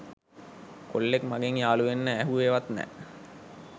කොල්ලෙක් මගෙන් යාළුවෙන්න ඇහුවෙ වත් නෑ